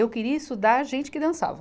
Eu queria estudar gente que dançava.